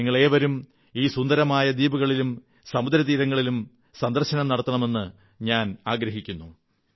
നിങ്ങളേവരും ഈ സുന്ദരമായ ദ്വീപുകളും സമുദ്രതീരങ്ങളും സന്ദർശിക്കുമെന്ന് ഞാൻ പ്രതീക്ഷിക്കുന്നു